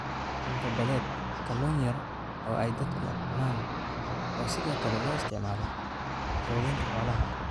Cunto-badeed: Kalluun yar oo ay dadku cunaan oo sidoo kale loo isticmaalo quudinta xoolaha.